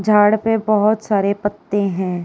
झाड़ पे बहोत सारे पत्ते हैं।